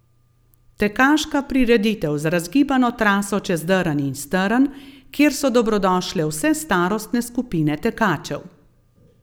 Tekaška prireditev z razgibano traso čez drn in strn, kjer so dobrodošle vse starostne skupine tekačev.